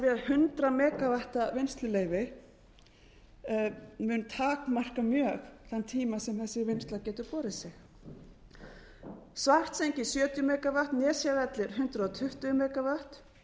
blasir við að hundrað megavatt vinnsluleyfi mun takmarka mjög þann tíma sem þessi vinnsla getur borið svartsengi sjötíu megavatt nesjavellir hundrað tuttugu megavatt